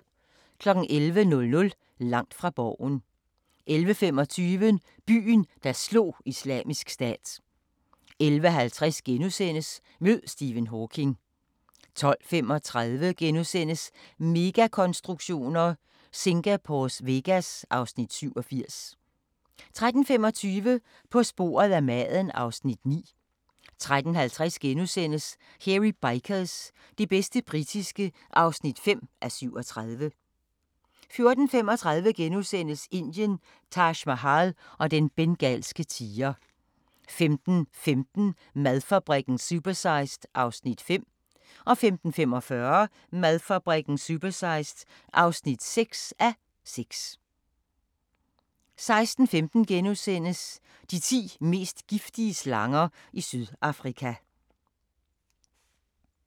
11:00: Langt fra Borgen 11:25: Byen, der slog Islamisk Stat 11:50: Mød Stephen Hawking * 12:35: Megakonstruktioner: Singapores Vegas (Afs. 87)* 13:25: På sporet af maden (Afs. 9) 13:50: Hairy Bikers – det bedste britiske (5:37) 14:35: Indien – Taj Mahal og den bengalske tiger * 15:15: Madfabrikken – supersized (5:6) 15:45: Madfabrikken – supersized (6:6) 16:15: De ti mest giftige slanger i Sydafrika *